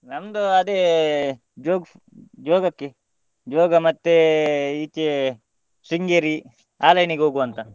ನಮ್ದು ಅದೇ jogas~ joga joga ಮತ್ತೆ ಈಚೆ Sringeri ಆ line ಗೆ ಹೋಗುವ ಅಂತ.